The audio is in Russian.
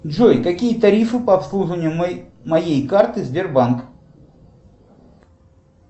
джой какие тарифы по обслуживанию моей карты сбербанк